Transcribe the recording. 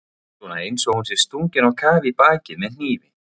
Svona einsog hún sé stungin á kaf í bakið með hnífi.